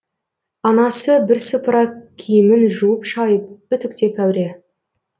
анасы бірсыпыра киімін жуып шайып үтіктеп әуре